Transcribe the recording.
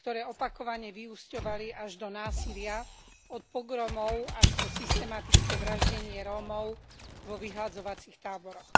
ktoré opakovane vyúsťovali až do násilia, od pogromov až po systematické vraždenie Rómov vo vyhladzovacích táboroch.